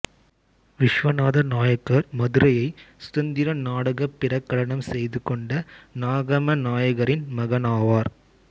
விஷ்வனாத நாயக்கர் மதுரையை சுதந்திர நாடாகப் பிரகடனம் செய்து கொண்ட நாகமநாயக்கரின் மகனாவார்